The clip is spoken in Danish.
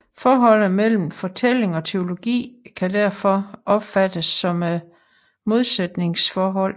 Forholdet mellem fortælling og teologi kan derfor opfattes som et modsætningsforhold